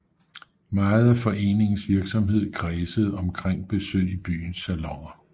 Meget af foreningens virksomhed kredsede omkring besøg i byens saloner